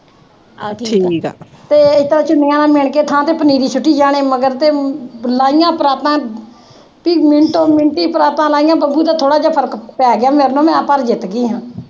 ਤੇ ਅਸੀਂ ਤਾਂ ਕਿੱਲਿਆਂ ਦਾ ਮਿਣ ਕੇ ਥਾਂ ਪਨੀਰੀ ਸਿੱਟੀ ਜਾਣੀ ਮਗਰ ਤੇ ਲਾਹੀਆਂ ਪਰਾਤਾਂ ਤੇ ਮਿੰਟੋ-ਮਿੰਟ ਈ ਪਰਾਤਾਂ ਲਾਹੀਆਂ, ਬੱਬੂ ਦਾ ਥੋੜ੍ਹਾ ਜਿਆ ਫਰਕ ਪੈ ਗਿਆ ਮੇਰੇ ਨਾਲ, ਮੈਂ ਪਰ ਜਿੱਤ ਗਈ ਸੀ